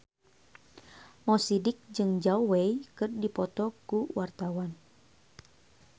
Mo Sidik jeung Zhao Wei keur dipoto ku wartawan